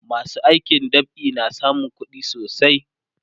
masu aikin dab'i na samun kuɗi sosai